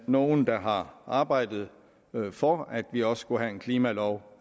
nogle der har arbejdet for at vi også skulle have en klimalov